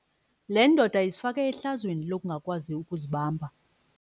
Le ndoda izifake ehlazweni lokungakwazi ukuzibamba.